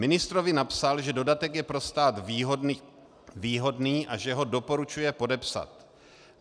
Ministrovi napsal, že dodatek je pro stát výhodný a že ho doporučuje podepsat.